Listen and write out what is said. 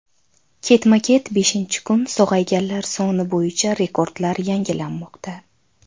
Ketma-ket beshinchi kun sog‘ayganlar soni bo‘yicha rekordlar yangilanmoqda.